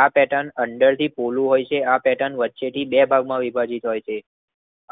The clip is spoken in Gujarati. આ પેર્ટન અંદર થી પોલું હોય છે આ પેર્ટન વચ્ચે થી બે ભાગમાં વિભાજીત થાય છે.